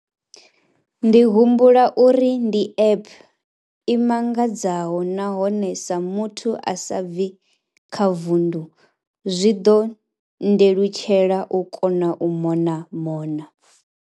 Ndi humbula uri ndi app i mangadzaho nahone sa muthu a sa bvi kha vundu, zwi ḓo nndelutshela u kona u mona mona.